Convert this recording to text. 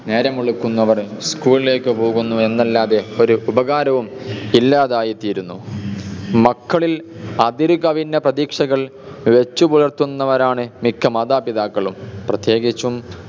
നേരം വെളുക്കുന്നതോടെ school ലേക്ക് പോകുന്നു എന്നല്ലാതെ ഒരു ഉപകാരവും ഇല്ലാതായി തീരുന്നു മക്കളിൽ അതിരുകവിഞ്ഞ പ്രതീക്ഷകൾ വെച്ചുപുലർത്തുന്നവരാണ് മിക്ക മാതാപിതാക്കളും പ്രത്യേകിച്ചും